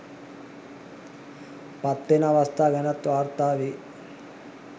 පත් වෙන අවස්ථා ගැනත් වාර්තා වෙයි